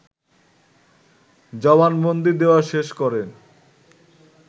জবানবন্দি দেয়া শেষ করেন